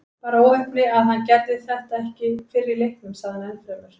Bara óheppni að hann gerði þetta ekki fyrr í leiknum, sagði hann ennfremur.